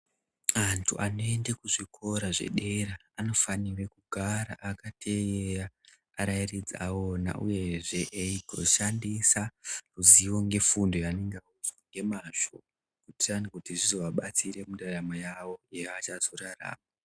Antu anoende kuzvikora zvedera anofanire kugara akateerera arairidzi awona uyezve eigoshandisa ruzivo ngefundo yaanenge audzwa ngemazvo kuitira nekuti zvizoadetsera mundaramo yawo yaachazorarama.